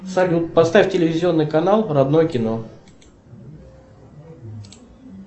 салют поставь телевизионный канал родное кино